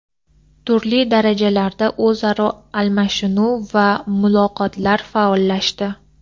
turli darajalarda o‘zaro almashinuv va muloqotlar faollashdi.